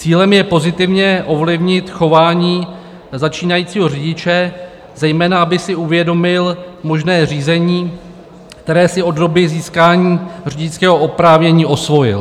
Cílem je pozitivně ovlivnit chování začínajícího řidiče, zejména aby si uvědomil možné řízení, které si od doby získání řidičského oprávnění osvojil.